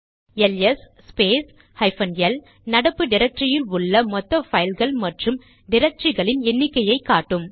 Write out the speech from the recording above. LS space hyphen L நடப்பு டிரக்டரியில் உள்ள மொத்த பைல்ஸ் மற்றும் டிரக்டரிகளின் எண்ணிக்கையை காட்டும்